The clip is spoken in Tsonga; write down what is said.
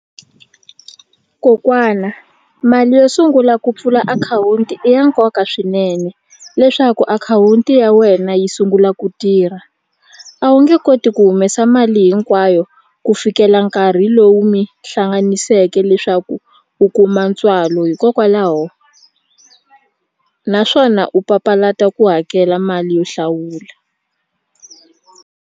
Kokwana mali yo sungula ku pfula akhawunti i ya nkoka swinene leswaku akhawunti ya wena yi sungula ku tirha a wu nge koti ku humesa mali hinkwayo ku fikela nkarhi lowu mi hlanganiseke leswaku u kuma ntswalo hikokwalaho naswona u papalata ku hakela mali yo hlawula.